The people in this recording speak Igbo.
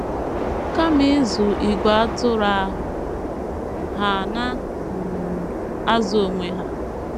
Kama ịzụ ìgwè atụrụ ahụ, ha na - um azụ onwe ha.